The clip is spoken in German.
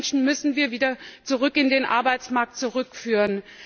Und diese Menschen müssen wir wieder in den Arbeitsmarkt zurückführen.